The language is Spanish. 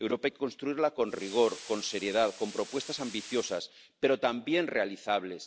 Europa hay que construirla con rigor, con seriedad, con propuestas ambiciosas pero también realizables.